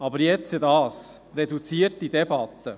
Aber jetzt dies: reduzierte Debatte!